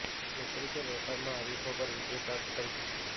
નોકરી કે વેપારમાં હરીફો પર વિજય પ્રાપ્ત કરી શકશો